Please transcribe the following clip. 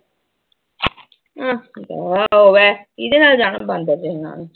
ਅਮ ਦਫ਼ਾ ਹੋਵੇ ਕਿਹਦੇ ਨਾਲ ਜਾਣਾ ਬਾਂਦਰ ਜਿਹੇ ਨਾਲ।